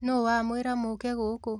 Nũ wamwĩra mũke gũkũ?